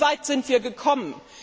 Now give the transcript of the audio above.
Wie weit sind wir gekommen?